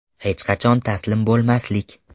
Hech qachon taslim bo‘lmaslik.